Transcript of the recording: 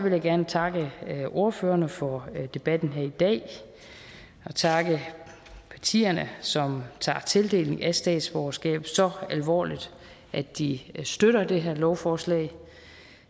jeg gerne takke ordførerne for debatten her i dag og takke partierne som tager tildelingen af statsborgerskab så alvorligt at de støtter det her lovforslag